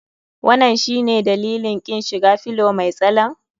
Wanan shine dalilin kin shiga fillow mai tsalen?